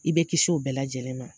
I bɛ kisi u bɛɛ lajɛlen ma